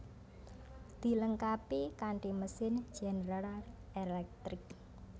Dilengkapi kanti mesin General Electric